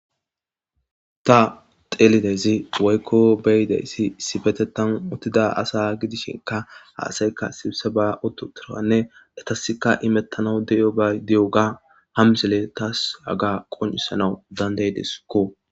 ta xeelidezi woykko beyidayssi sibete tan otida asa gidishinka haasayka sibse ba oto turanne datasika imettana di7o gay di7o ga hamsele tas haga qoncisanau dandaydeskko